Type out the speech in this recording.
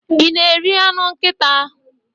I na-eri anụ nkịta.